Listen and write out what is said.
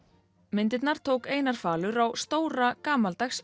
myndirnar tók Einar falur á stóra gamaldags